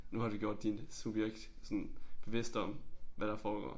Nu har du gjort din subjekt sådan bevidst om hvad der foregår